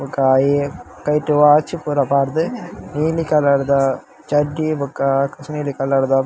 ಬೊಕ್ಕ ಆಯೆ ಕೈಟ್ ವಾಚ್ ಪೂರ ಪಾಡ್ದ್ ನೀಲಿ ಕಲರ್ ದ ಚಡ್ಡಿ ಬೊಕ ನೀಲಿ ಕಲರ್ ದ --